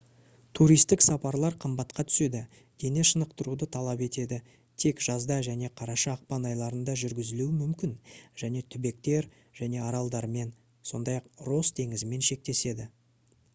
туристік сапарлар қымбатқа түседі дене шынықтыруды талап етеді тек жазда және қараша-ақпан айларында жүргізілуі мүмкін және түбектер және аралдармен сондай-ақ росс теңізімен шектеседі